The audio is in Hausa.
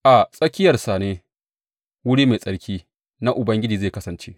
A tsakiyarsa ne wuri mai tsarki na Ubangiji zai kasance.